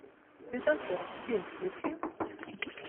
светофор фильм включи